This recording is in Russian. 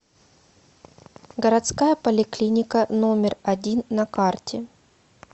городская поликлиника номер один на карте